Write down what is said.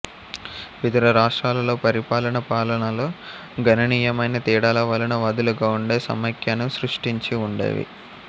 వివిధ రాష్ట్రాలలో పరిపాలన పాలనలో గణనీయమైన తేడాల వలన వదులుగా ఉండే సమాఖ్యను సృష్టించి ఉండేవి